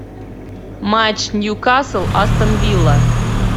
матч ньюкасл астон вилла